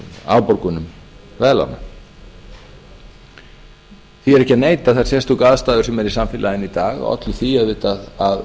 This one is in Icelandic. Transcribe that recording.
afborgunum veðlána því er ekki að neita að þær sérstöku aðstæður sem eru í samfélaginu í dag ollu því auðvitað að